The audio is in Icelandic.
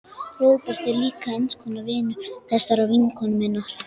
Róbert er líka eins konar vinur þessarar vinkonu minnar.